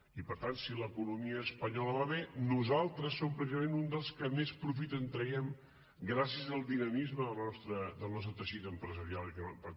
i per tant si l’economia espanyola va bé nosaltres som precisament uns dels que més profit en traiem gràcies al dinamisme del nostre teixit empresarial i econòmic